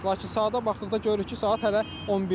Lakin saata baxdıqda görürük ki, saat hələ 11-dir.